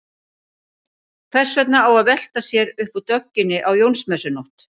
Hvers vegna á að velta sér upp úr dögginni á Jónsmessunótt?